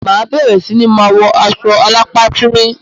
Ma bere si ni ma wọ aṣọ alápá tíńrín